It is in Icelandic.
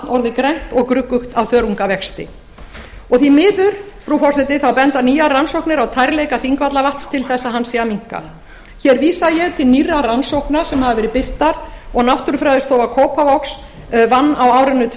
orðið grænt og gruggugt af þörungavexti og því miður frú forseti benda nýjar rannsóknir á tærleika þingvallavatns til þess að hann sé að minnka hér vísa ég til nýrrar rannsóknar sem hafa verið birtar og náttúrufræðistofa kópavogs vann á árinu tvö